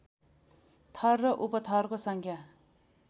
थर र उपथरको सङ्ख्या